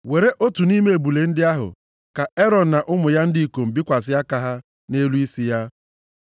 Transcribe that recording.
“Were otu nʼime ebule ndị ahụ, ka Erọn na ụmụ ya ndị ikom bikwasị aka ha nʼelu isi ya.